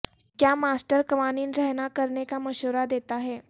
کیا ماسٹر قوانین رہنا کرنے کا مشورہ دیتا ہے